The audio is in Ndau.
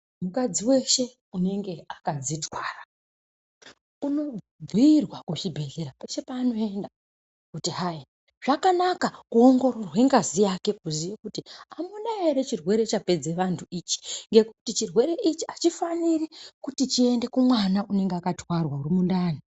Mukadzi weshe unenge akadzitwara, unobhuirwa kuchibhedhlera peshe paanoenda kuti hai zvakanaka kuongororwe ngazi yake kuziye kuti amuna ere chirwere chapedze vantu ichi ngekuti chirwere ichi achifaniri kuti chiende kumwana unenge akatwarwa mundani.